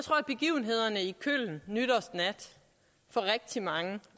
jeg i köln nytårsnat for rigtig mange